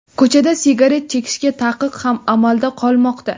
Ko‘chada sigaret chekishga taqiq ham amalda qolmoqda.